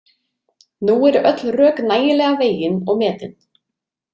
Nú eru öll rök nægilega vegin og metin.